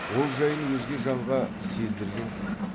ол жайын өзге жанға сездірген жоқ